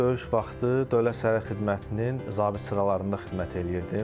Döyüş vaxtı Dövlət Sərhəd Xidmətinin zabit sıralarında xidmət eləyirdim.